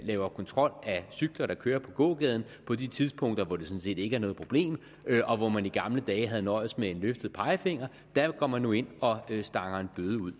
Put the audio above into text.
laver kontrol af cyklister der kører på gågaden på de tidspunkter hvor det sådan set ikke er noget problem og hvor man i gamle dage havde nøjedes med en løftet pegefinger der går man nu ind og stanger en bøde ud